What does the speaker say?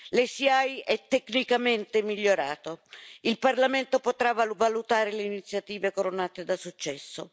L'ICE è tecnicamente migliorata il Parlamento potrà valutare le iniziative coronate da successo.